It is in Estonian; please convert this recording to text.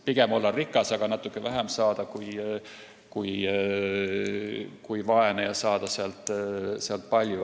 Pigem olla rikas, aga saada sealt natuke vähem, kui vaene ja saada palju.